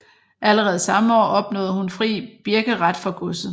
Allerede samme år opnåede hun fri birkeret for godset